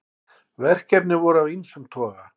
Verkefnin voru af ýmsum toga